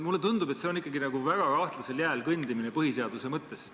Mulle tundub, et see on ikkagi nagu väga nõrgal jääl kõndimine põhiseaduse mõttes.